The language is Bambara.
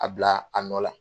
A bila a nɔ la